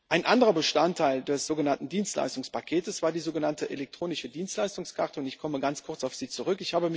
Ein anderer Bestandteil des sogenannten Dienstleistungspakets war die sogenannte elektronische Dienstleistungskarte, und ich komme ganz kurz auf sie zurück.